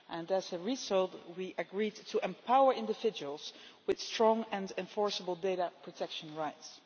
As a result, we agreed to empower individuals with strong and enforceable data protection rights.